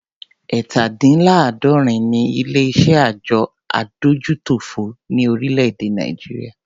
Ẹ̀ta- dín -ní -àádọ́rin ni ilé iṣé àjọ adójútòfò ni orílè-èdè Nàìjíríà.